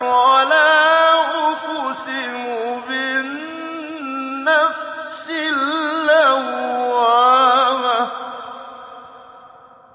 وَلَا أُقْسِمُ بِالنَّفْسِ اللَّوَّامَةِ